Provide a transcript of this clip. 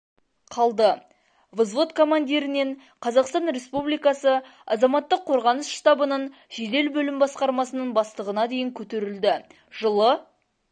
қалды взвод командирінен қазақстан республикасы азаматтық қорғаныс штабының жедел бөлім басқармасының бастығына дейін көтерілді жылы